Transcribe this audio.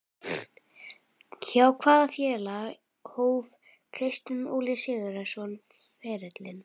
Hjá hvaða félagi hóf Kristján Óli Sigurðsson ferilinn?